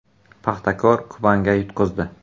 “Paxtakor” “Kuban”ga yutqazdi.